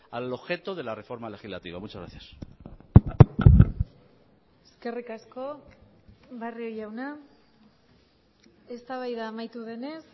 al objeto de la reforma legislativa muchas gracias eskerrik asko barrio jauna eztabaida amaitu denez